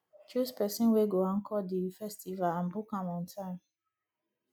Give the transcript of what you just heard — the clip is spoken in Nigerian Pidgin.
choose persin wey go anchor di festival and book am on time